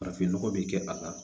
Farafinnɔgɔ bɛ kɛ a la